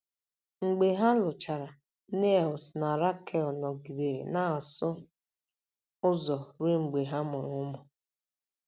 Mgbe ha lụchara, Niels na Rakel nọgidere na-asụ ụzọ ruo mgbe ha mụrụ ụmụ.